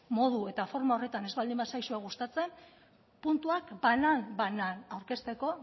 modu eta forma horretan ez baldin bazaizue gustatzen puntuak banan banan aurkezteko